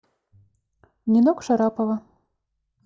нинок шарапова